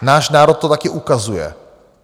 Náš národ to taky ukazuje.